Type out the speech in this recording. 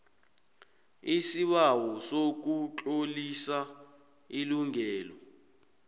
isibawo sokutlolisa ilungelo